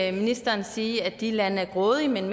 ikke ministeren sige at de lande er grådige men